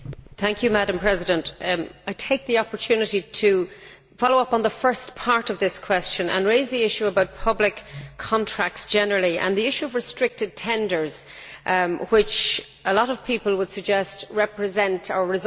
I take the opportunity to follow up on the first part of this question and to raise the issue about public contracts generally and the issue of restricted tenders, which a lot of people would suggest represent, or result in, poor value for money.